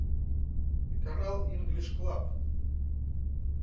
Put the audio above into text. канал инглиш клаб